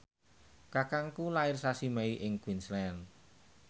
kakangku lair sasi Mei ing Queensland